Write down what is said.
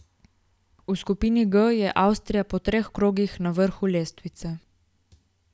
V skupini G je Avstrija po treh krogih na vrhu lestvice.